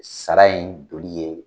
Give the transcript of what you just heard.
Sara in doli ye